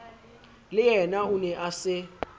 leyena o ne a se